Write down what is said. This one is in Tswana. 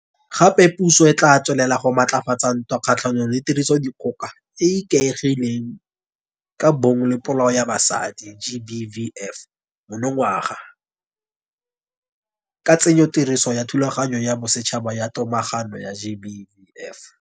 Gape puso e tla tswelela go maatlafatsa ntwa kgatlhanong le Tirisodikgoka e e Ikaegileng ka Bong le Polao ya Basadi, GBVF, monongwaga, ka tsenyotirisong ya Thulaganyo ya Bosetšhaba ya Tomagano ya GBVF.